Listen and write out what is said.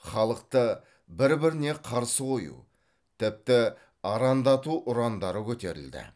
халықты бір біріне қарсы қою тіпті арандату ұрандары көтерілді